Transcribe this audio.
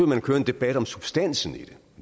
man at køre en debat om substansen i det